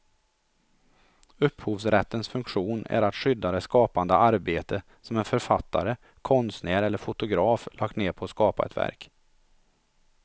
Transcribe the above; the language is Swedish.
Upphovsrättens funktion är att skydda det skapande arbete som en författare, konstnär eller fotograf lagt ned på att skapa ett verk.